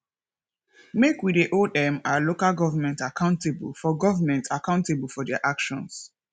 make we dey hold um our local government accountable for government accountable for their actions